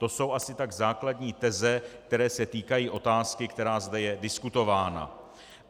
To jsou asi tak základní teze, které se týkají otázky, která zde je diskutována.